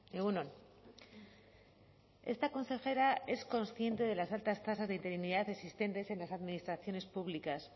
egun on esta consejera es consciente de las altas tasas de interinidad existentes en las administraciones públicas